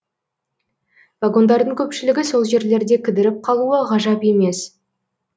вагондардың көпшілігі сол жерлерде кідіріп қалуы ғажап емес